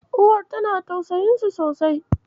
Uwar tana tausayinsu sosai.